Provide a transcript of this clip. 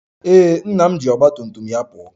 Ee, nna m ji ọgba tum tum ya pụọ